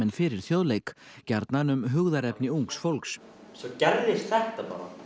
fyrir Þjóðleik gjarnan um hugðarefni ungs fólks svo gerðist þetta bara